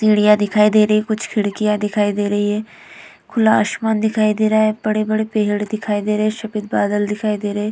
सीढ़ियाँ दिखाई दे रही हैं। कुछ खिड़कियां दिखाई दे रही हैं। खुला आसमान दिखाई दे रहा है। बड़े-बड़े पेड़ दिखाई दे रहे हैं। सफेद बादल दिखाई दे रहे हैं।